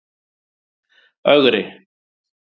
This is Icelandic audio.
Ögri